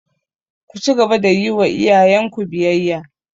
Ku cigaba da yi wa iyayenku biyayya!